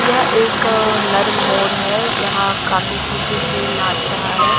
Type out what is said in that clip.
यह एक नर मोर है यहां काफी खुशी से नाच रहा है।